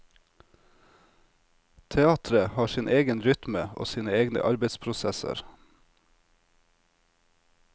Teatret har sin egen rytme og sine egne arbeidsprosesser.